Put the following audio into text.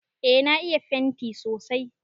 Eh na iya fenti sosai.